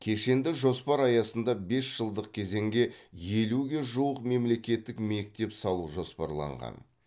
кешенді жоспар аясында бес жылдық кезеңге елуге жуық мемлекеттік мектеп салу жоспарланған